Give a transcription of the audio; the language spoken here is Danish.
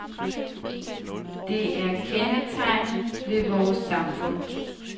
Det er kendetegnet ved vores samfund.